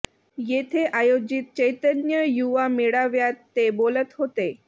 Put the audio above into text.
येथे आयोजित चैतन्य युवा मेळाव्यात ते बोलत होते